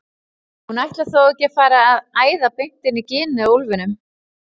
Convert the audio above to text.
Hún ætlar þó ekki að fara að æða beint inn í ginið á úlfinum!